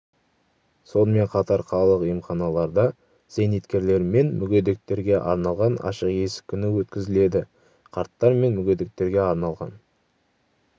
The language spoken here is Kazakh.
сонымен қатар қалалық емханаларда зейнеткерлер мен мүгедектерге арналған ашық есік күні өткізіледі қарттар мен мүгедектерге арналған